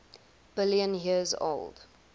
billion years old